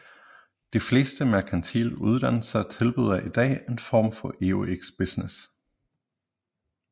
De fleste merkantile uddannelser tilbyder i dag en form for EUX Business